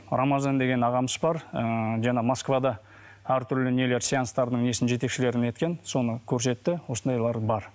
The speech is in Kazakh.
рамазан деген ағамыз бар ыыы жаңа москвада әртүрлі нелер сеанстардың несін жетекшілерін неткен соны көрсетті осындайлар бар